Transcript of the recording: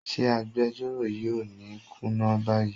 Ṣé agbejọ́rò yìí ò ní kùnà báyìí?